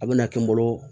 A bɛna kɛ n bolo